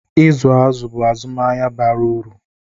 ịzụ azụ̀ bụ azụmahịa bara uru